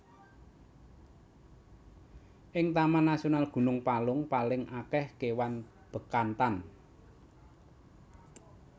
Ing Taman Nasional Gunung Palung paling akeh kewan Bekantan